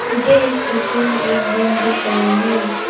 मुझे इस तस्वीर मे एक जीम दिख रहा है।